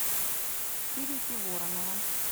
кирюхи воронова